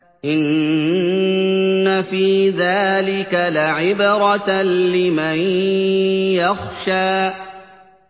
إِنَّ فِي ذَٰلِكَ لَعِبْرَةً لِّمَن يَخْشَىٰ